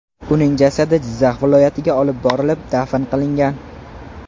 Uning jasadi Jizzax viloyatiga olib borilib, dafn qilingan.